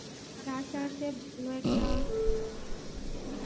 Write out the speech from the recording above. আমার আশা আছে ভালো একটা